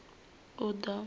uḓo